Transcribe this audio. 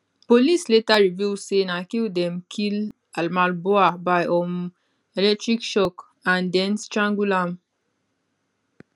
police later reveal say na kill dem kill almabhouh by um electric shock and den strangle am